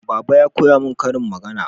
Baba ya koya mun ƙarin magana